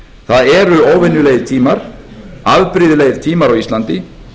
það eru óvenjulegir tímar afbrigðilegir tímar á íslandi